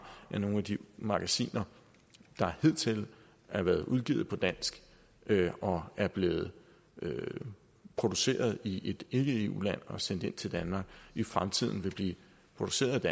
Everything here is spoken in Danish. at nogle af de magasiner der hidtil har været udgivet på dansk og er blevet produceret i et ikke eu land og sendt til danmark i fremtiden vil blive produceret